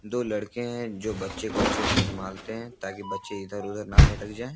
दो लड़के हैं जो बच्चे को अच्छे से संभालते है ताकि बच्चे इधर-उधर ना भटक जाए।